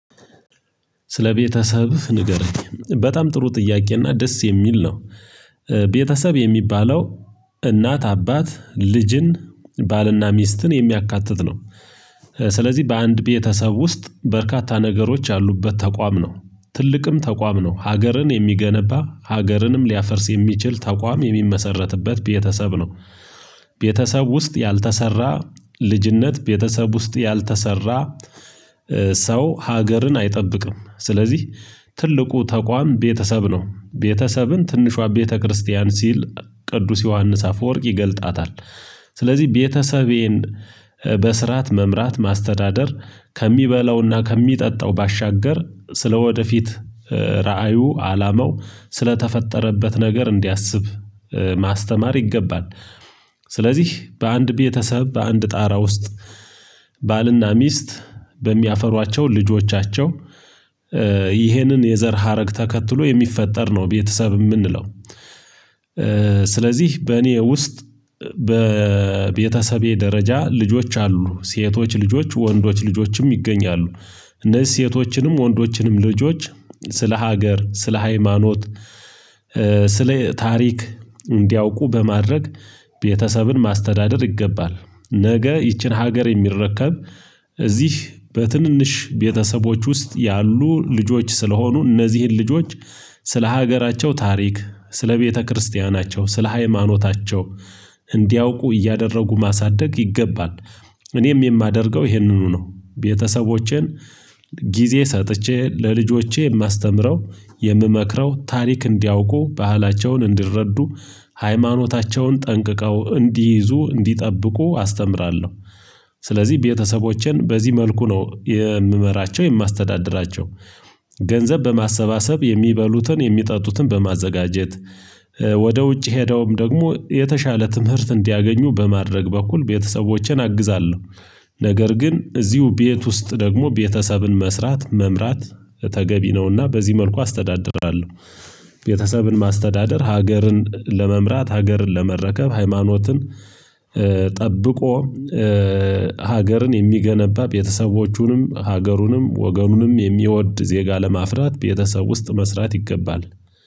ስለ ቤተሰብ ንገረኝ በጣም ጥሩ ጥያቄ እና ደስ የሚል ነው እ ቤተሰብ የሚባለው እናት አባት ልጅን ባልና ሚስትን የሚያካትት ነው። ስለዚህ በአንድ ቤተሰብ ውስጥ በርካታ ነገሮች ያሉበት ተቋም ነው ትልቅም ተቋም ነው ሀገርን የሚገነባ ሀገርንም ሊያፈርስ የሚችል ተቋም የሚመሰረትበት ቤተሰብ ነው። ቤተሰብ ውስጥ ያልተሰራ ልጅነት ቤተሰብ ውስጥ ያልተሰራ እ ሰው ሀገርን አይጠብቅም። ስለዚህ ትልቁ ተቋም ቤተሰብ ነው ቤተሰብን ትንሿ ቤተክርስቲያን ሲል ቅዱስ ዮሐንስ አፈወርቅ ይገልጣታል። ስለዚህ ቤተሰቤን እ በስርዓት መምራት ማስተዳደር ከሚበላውና ከሚጠጣው ባሻገር ስለወደፊት እ ራእዩ አላማው ስለተፈጠረበት ነገር እንዲያስብ እ ማስተማር ይገባል። ስለዚህ በአንድ ቤተሰብ በአንድ ጣራ ውስጥ ባልና ሚስት በሚያፈሯቸው ልጆቻቸው እ ይሄንን የዘር ሀረግ ተከትሎ የሚፈጠር ነው ቤተሰብ የምንለው እ። ስለዚህ በእኔ ውስጥ በእእ ቤተሰቤ ደረጃ ልጆች አሉ ሴቶች ልጆች ወንዶች ልጆችም ይገኛሉ። እነዚህ ሴቶችንም ወንዶችንም ልጆች ስለ ሀገር ስለ ሃይማኖት እእ ስለ ታሪክ እንዲያውቁ በማድረግ ቤተሰብን ማስተዳደር ይገባል። ነገ ይቺን ሀገር የሚረከብ እዚህ በትንንሽ ቤተሰቦች ውስጥ ያሉ ልጆች ስለሆኑ እነዚህን ልጆች ስለ ሀገራቸው ታሪክ ስለ ቤተክርስቲያናቸው ስለ ሃይማኖታቸው እንዲያውቁ እያደረጉ ማሳደግ ይገባል። እኔም የማደርገው ይሄንኑ ነው ቤተሰቦቼን ጊዜ ሰጥቼ ለልጆቼ የማስተምረው የምመክረው ታሪክ እንዲያውቁ ባህላቸውን እንዲረዱ ሃይማኖታቸውን ጠንቅቀው እንዲይዙ እንዲጠብቁ አስተምራለሁ። ስለዚህ ቤተሰቦችን በዚህ መልኩ ነው የምመራቸው የማስተዳድራቸው ገንዘብ በማሰባሰብ የሚበሉትን የሚጠጡትን በማዘጋጀት እእ ወደ ውጭ ሄደውም ደግሞ የተሻለ ትምህርት እንዲያገኙ በማድረግ በኩል ቤተሰቦቼን አግዛለሁ። ነገር ግን እዚሁ ቤት ውስጥ ደግሞ ቤተሰብን መስራት መምራት ተገቢ ነውና በዚህ መልኩ አስተዳድራለሁ። ቤተሰብን ማስተዳደር ሀገርን ለመምራት ሀገርን ለመረከብ ሃይማኖትን እ ጠብቆ እእ ሀገርን የሚገነባ ቤተሰቦቹንም ሀገሩንም ወገኑንም የሚወድ ዜጋ ለማፍራት ቤተሰብ ውስጥ መስራት ይገባል።